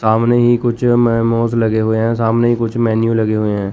सामने ही कुछ मोमोज लगे हुए हैं सामने कुछ मेनू लगे हुए हैं।